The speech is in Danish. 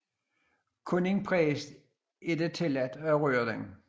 Kun én præst er det tilladt at røre den